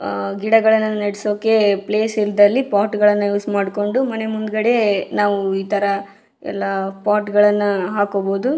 ಆಹ್ಹ್ ಗಿಡಗಳನ್ನು ನೆಡೆಸೋಕೆ ಪ್ಲೇಸ್ ಇಲ್ದಲ್ಲಿ ಪಾಟ್ಗಳನ್ನ ಯೂಸ್ ಮಾಡ್ಕೊಂಡು ಮನೆ ಮುಂದ್ಗಡೆ ನಾವು ಇಥರ್ ಎಲ್ಲ ಪಾಟ್ಗ ಳನ್ನ ಹಾಕೋಬಹುದು .